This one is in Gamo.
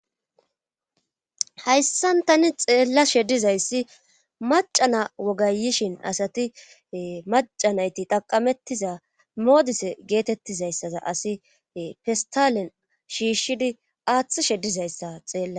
hayssan tani xeella she dizayssi macana wogayishin asati macanayti taqamettiza moodise geetettizayssaza asi fistalen shiishshidi aaththi she dizayssa xeella